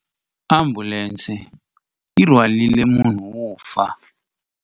Ambulense yi rhwarile munhu wo fa.